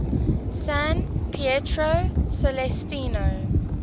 san pietro celestino